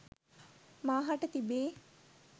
මා හට තිබේ.